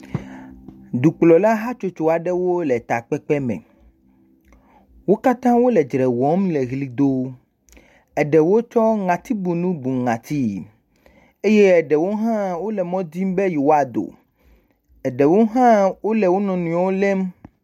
Dukplɔla hatsotso aɖewo le takpekpe me, wo katã wole dzre wɔm le ʋli dom, eɖewo tsɔ ŋatibunu bu ŋatii eye eɖewo hã wole mɔ dim be yewoado, eɖewo hã wole wo nɔ nɔewo lém.